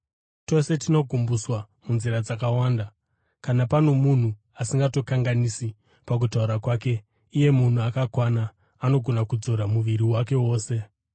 Tose tinogumbuswa munzira dzakawanda. Kana pano munhu asingatongokanganisi pakutaura kwake, iye munhu akakwana, anogona kudzora muviri wake wose.